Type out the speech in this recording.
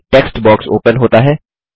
एक text box open होता है